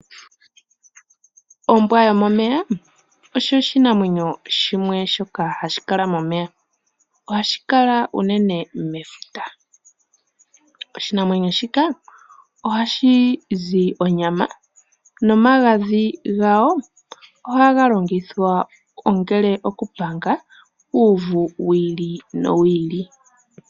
Ombwa yomomeya osho oshinamwenyo shimwe shoka hashi kala momeya, ohashi kala unene mefuta. Oshinamwenyo shika ohashi zi onyama nomagadhi gawo ohaga longithwa ongele okupanga uuvu wiili nowiili.